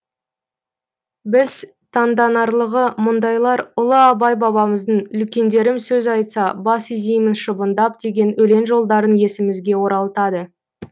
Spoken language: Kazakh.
біз таңданарлығы мұндайлар ұлы абай бабамыздың үлкендерім сөз айтса бас изеймін шыбындап деген өлең жолдарын есімізге оралтады